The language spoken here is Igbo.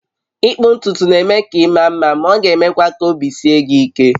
Ịkpụ ntutu na-eme ka ị maa mma, ma ọ ga-emekwa ka obi sie gị ike.